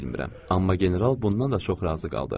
Amma general bundan da çox razı qaldı.